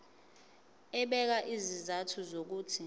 ebeka izizathu zokuthi